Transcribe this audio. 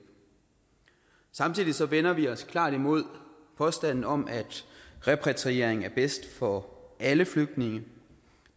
samtidig vender vi os klart imod påstanden om at repatriering er bedst for alle flygtninge